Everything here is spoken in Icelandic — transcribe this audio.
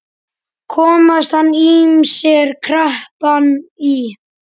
Komast hann ýmsir krappan í.